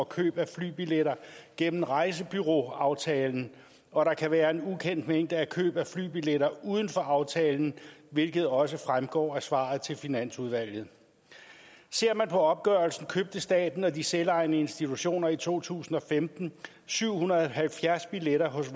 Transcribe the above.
køb af flybilletter gennem rejsebureauaftalen og der kan være en ukendt mængde af køb af flybilletter uden for aftalen hvilket også fremgår af svaret til finansudvalget ser man på opgørelsen købte staten og de selvejende institutioner i to tusind og femten syv hundrede og halvfjerds billetter hos